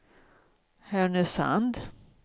Härnösand